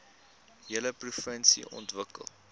hele provinsie ontwikkel